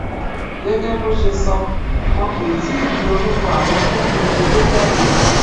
gẹgẹ bó ṣe sọ wọn kó tì í gbé orúkọ àwọn tó pegedé jáde